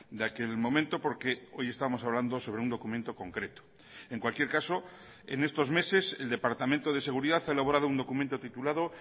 de aquel momento porque hoy estamos hablando sobre un documento concreto en cualquier caso en estos meses el departamento de seguridad ha elaborado un documento titulado